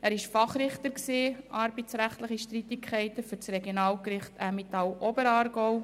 Er war Fachrichter in arbeitsrechtlichen Streitigkeiten für das Regionalgericht Emmental-Oberaargau.